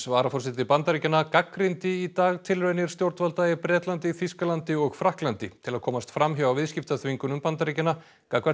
varaforseti Bandaríkjanna gagnrýndi í dag tilraunir stjórnvalda í Bretlandi Þýskalandi og Frakklandi til að komast fram hjá viðskiptaþvingunum Bandaríkjanna gagnvart